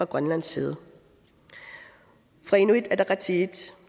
grønlands side fra inuit ataqatigiits